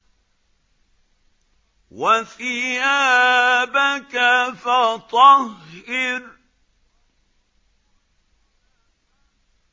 وَثِيَابَكَ فَطَهِّرْ